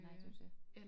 Nej det jo det